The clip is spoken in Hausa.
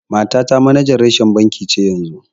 Matata manajan reshen banki ce yanzu.